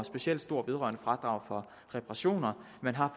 specielt stort vedrørende fradrag for reparationer man har